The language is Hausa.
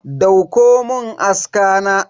Dauko mun aska na.